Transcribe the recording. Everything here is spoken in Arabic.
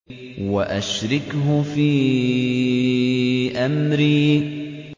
وَأَشْرِكْهُ فِي أَمْرِي